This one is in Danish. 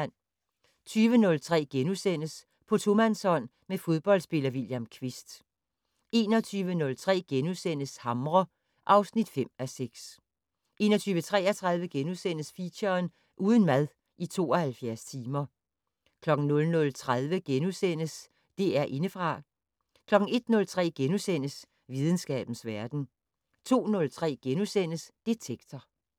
20:03: På tomandshånd med fodboldspiller William Kvist * 21:03: Hamre (5:6)* 21:33: Feature: Uden mad i 72 timer * 00:30: DR Indefra * 01:03: Videnskabens verden * 02:03: Detektor *